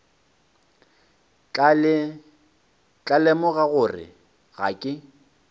tla lemoga gore ga ke